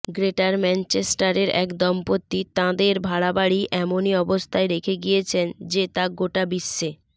greater ম্যাঞ্চেস্টারের এক দম্পতি তাঁদের ভাড়াবাড়ি এমনই অবস্থায় রেখে গিয়েছেন যে তা গোটা বিশ্বে